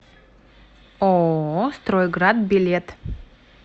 ооо стройград билет